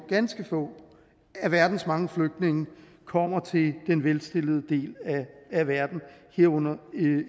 ganske få af verdens mange flygtninge kommer til den velstillede del af verden herunder